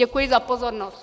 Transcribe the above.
Děkuji za pozornost.